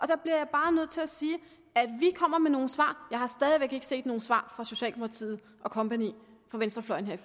der bliver jeg bare nødt til at sige at vi kommer med nogle svar jeg har stadig væk ikke se nogen svar fra socialdemokratiet og kompagni fra venstrefløjen her